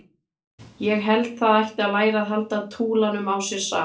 Ég held það ætti að læra að halda túlanum á sér saman.